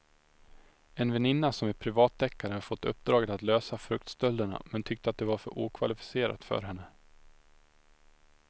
En väninna som är privatdeckare hade fått uppdraget att lösa fruktstölderna men tyckte att det var för okvalificerat för henne.